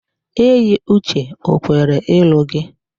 Eyiuche o kwere ịlụ gị?